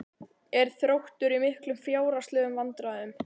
Er Þróttur í miklum fjárhagslegum vandræðum?